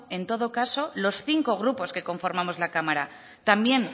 en todo caso los cinco grupos que conformamos la cámara también